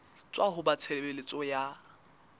tswa ho ba tshebeletso ya